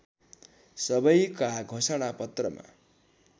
सबैका घोषणा पत्रमा